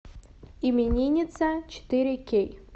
именинница четыре кей